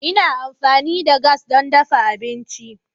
Ina amfani da gas don dafa abinci.